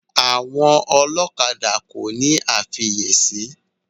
Àwọn ọlọ́kadà kòní àfiyèsí.